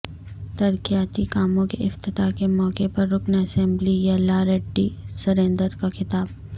ترقیاتی کاموں کے افتتاح کے موقع پر رکن اسمبلی یلا ریڈی سریندر کا خطاب